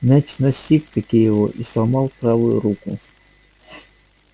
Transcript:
мяч настиг-таки его и сломал правую руку